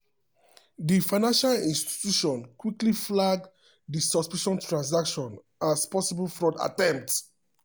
di financial institution quick flag di suspicious transaction as possible fraud attempt.